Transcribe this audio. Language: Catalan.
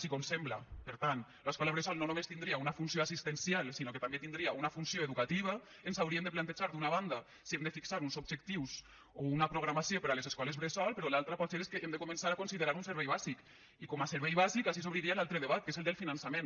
si com sembla per tant l’escola bressol no només tindria una funció assistencial sinó que també tindria una funció educativa ens hauríem de plantejar d’una banda si hem de fixar uns objectius o una programació per a les escoles bressol però l’altra potser és que hem de començar a considerar la un servei bàsic i com a servei bàsic així s’obriria l’altre debat que és el del finançament